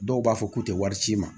Dɔw b'a fɔ k'u tɛ wari ci i ma